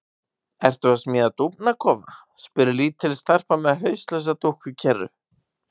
Ertu að smíða dúfnakofa? spyr lítil stelpa með hauslausa dúkku í kerru.